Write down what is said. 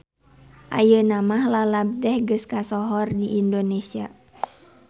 Ayeuna mah lalab teh geus kasohor di Indonesia.